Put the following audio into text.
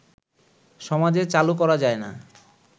সমাজে চালু করা যায় না